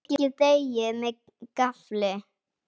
Pikkið deigið með gaffli.